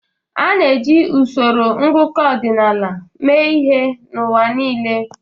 A na-eji usoro ngụkọ ọdịnaala mee ihe n'ụwa niile.